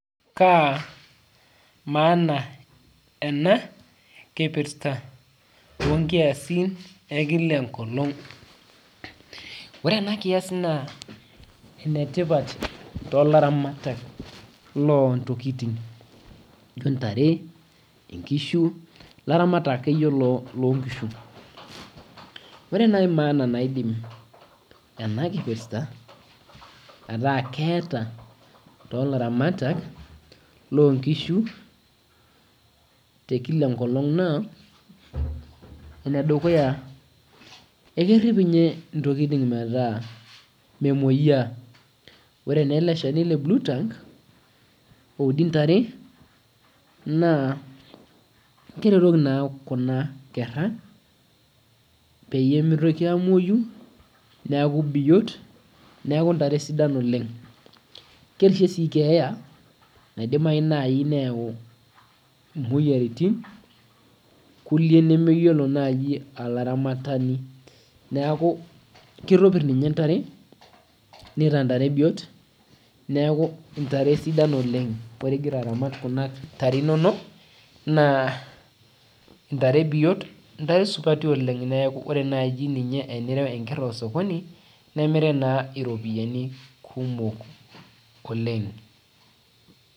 Kaa emaana ana kipirta tonkiasin ekila enkolong. Ore ana nkias naa enetipat too laramatak loo intokitin ashu intare, inkishu, laramatak ake iyie loo inkishu. Ore nai emaana naidim ena kipirta ataa keeta yoo laramatak loo inkishu te ekila enkolong naa enedukuya, ekerip ninye ntokitin metaa memoyaa. Ore naa ele ilchani le blue tongue oudi intare naa keretoki naa kuna inkera peyie emeitoki aamoiyu neaku biot, neaku intare sidan oleng. Kerishe sii keeya naidimayu nai neyau imoyiaritin kulie nemeyiolo naaji aramatani. Naaku keitobir ninye intare, neeta intare biot, neaku intare sidan oleng, ogira ilaramatak kuna intare inono, naaa intare biot intare supati oleng kore naaji ninye enirau inkerr osokoni nimirie naa iropiyiani kumok oleng.